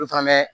Olu fana bɛ